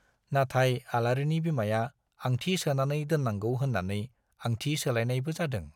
नाथाय आलारिनि बिमाया आंथि सोनानै दोन्नांगौ होन्नानै आंथि सोलायनायबो जादों।